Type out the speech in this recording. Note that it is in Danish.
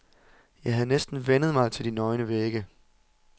Jeg havde næsten vænnet mig til de nøgne vægge.